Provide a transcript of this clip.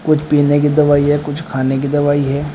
कुछ पीने की दवाई है कुछ खाने की दवाई है।